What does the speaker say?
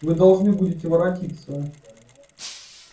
вы должны будете воротиться